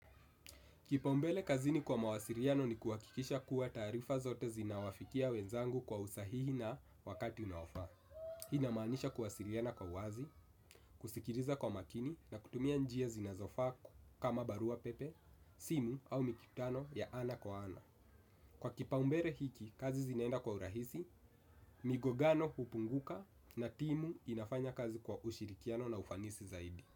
Kipaumbele kazini kwa mawasiliano ni kuhakikisha kuwa taarifa zote zinawafikia wenzangu kwa usahihi na wakati unaofaa. Hii inamaanisha kuwasiliana kwa wazi, kusikiliza kwa makini na kutumia njia zinazofaa kama barua pepe, simu au mikutano ya ana kwa ana. Kwa kipaumbele hiki, kazi zinaenda kwa urahisi, migongano hupunguka na timu inafanya kazi kwa ushirikiano na ufanisi zaidi.